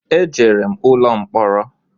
E jere m ụlọ mkporo